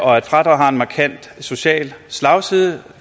og at fradraget har en markant social slagside